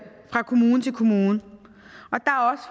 fra kommune til kommune